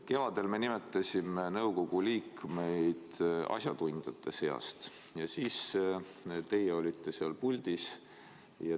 Kevadel me nimetasime nõukogu liikmeid asjatundjate seast ja siis olite teie seal puldis.